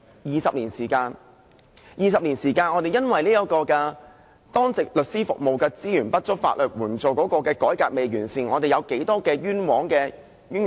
20年來我們因為當值律師服務資源不足，法援改革未完善，造成多少枉冤個案或冤獄呢？